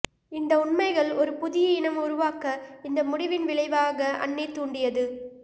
இந்த உண்மைகள் ஒரு புதிய இனம் உருவாக்க இந்த முடிவின் விளைவாக அன்னே தூண்டியது